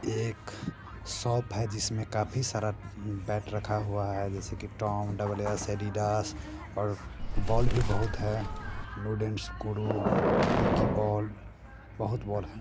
एक शॉप है जिसमें काफी सारा बैट रखा हुआ है जैसे कि टॉम डबल एस एडिडास और बॉल भी बहुत है वुडेन गुरु विकी बॉल बहुत बॉल है।